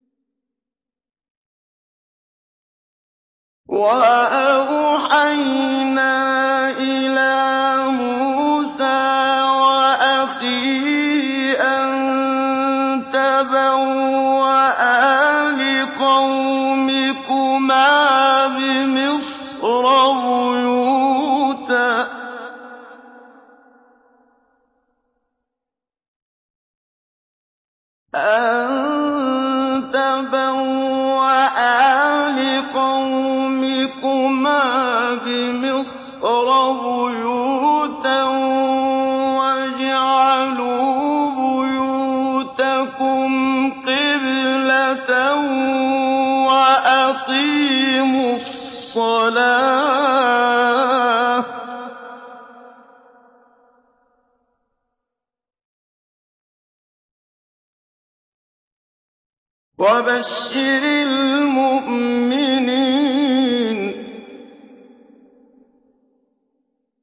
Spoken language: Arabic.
وَأَوْحَيْنَا إِلَىٰ مُوسَىٰ وَأَخِيهِ أَن تَبَوَّآ لِقَوْمِكُمَا بِمِصْرَ بُيُوتًا وَاجْعَلُوا بُيُوتَكُمْ قِبْلَةً وَأَقِيمُوا الصَّلَاةَ ۗ وَبَشِّرِ الْمُؤْمِنِينَ